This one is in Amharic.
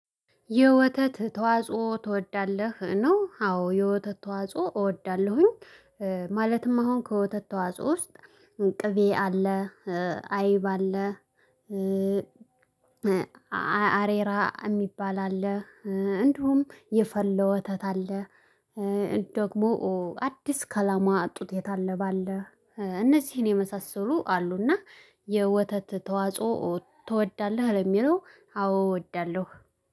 የወተት ተዋጽኦ ትወዳለህ? ነው አዎ የወተት ተዋጽኦ እወዳለሁኝ ማለትም አሁን ከወተት ተዋጽኦ ውስጥ ቅቤ አለ አይብ አለ አሬራ የሚባል አለ እንዲሁም የፈለው ወተት አለ ደግሞ አዲስ ከላሟ ጡት የታለበ አለ እነዚህን የመሳሰሉ አሉና የወተት ተዋጽኦ ትወዳለህ ለሚለው አዎ እወዳለሁ